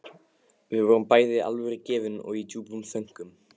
Við vorum bæði alvörugefin og í djúpum þönkum.